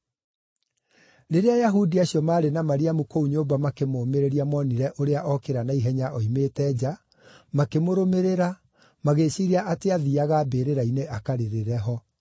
Rĩrĩa Ayahudi acio maarĩ na Mariamu kũu nyũmba makĩmũũmĩrĩria monire ũrĩa okĩra na ihenya oimĩte nja, makĩmũrũmĩrĩra, magĩĩciiria atĩ aathiiaga mbĩrĩra-inĩ akarĩrĩre ho.